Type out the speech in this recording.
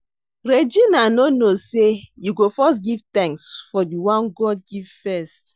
Regina no know say you go first give thanks for the one God give first